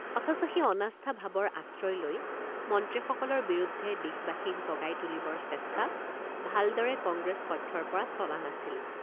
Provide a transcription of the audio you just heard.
অথচ সেই অনাস্থা ভাবৰ আশ্ৰয় লৈ মন্ত্ৰীসকলৰ বিৰুদ্ধে দেশবাসীক জগাই তুলিবৰ চেষ্টা ভালদৰে কংগ্ৰেছ পক্ষৰপৰা চলা নাছিল।